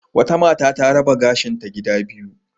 Wata mata ta raba gashinta gida biyu.